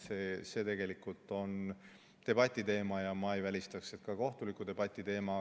See tegelikult on debati teema ja ma ei välistaks, et ka kohtuliku debati teema.